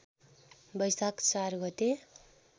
वैशाख ४ गते